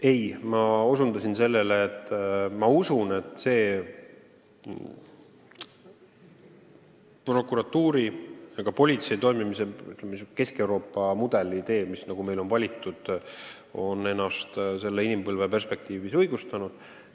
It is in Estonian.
Ei, ma osutasin sellele, et minu arvates on see prokuratuuri ja politsei toimimise Kesk-Euroopa mudel, mis meil on valitud, ennast selle inimpõlve ajal õigustanud.